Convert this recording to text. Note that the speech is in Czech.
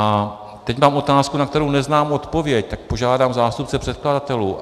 A teď mám otázku, na kterou neznám odpověď, tak požádám zástupce předkladatelů.